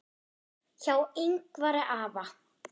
Hjá Yngvari afa